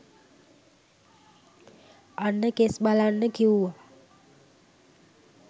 අන්න කෙස් බලන්න කිව්ව